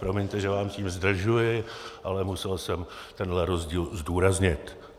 Promiňte, že vás tím zdržuji, ale musel jsem tenhle rozdíl zdůraznit.